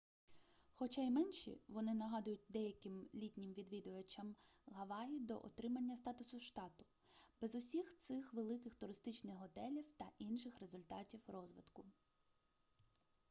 хоча і менші вони нагадують деяким літнім відвідувачам гаваї до отримання статусу штату без усіх цих великих туристичних готелів та інших результатів розвитку